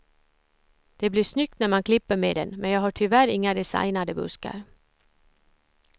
Det blir snyggt när man klipper med den, men jag har tyvärr inga designade buskar.